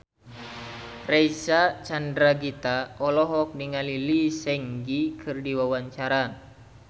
Reysa Chandragitta olohok ningali Lee Seung Gi keur diwawancara